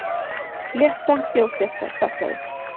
Flétta þjófstartaði